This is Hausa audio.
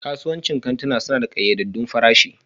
Kasuwancin kantuna suna da ƙayyadaddun farashi